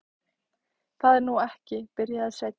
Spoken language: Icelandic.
Það er nú ekki. byrjaði Sveinn.